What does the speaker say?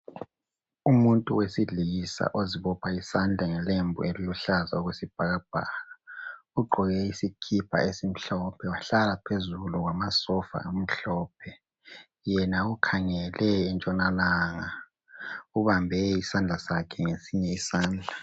Umuntu wesilisa ozibopha isandla ngelembu eliluhlaza okwesibhakabhaka ugqoke isikipa esimhlophe wahlala phezulu kwamasofa amhlophe yena ukhangele entshonalanga ubambe isandla sakhe ngesinye isandla.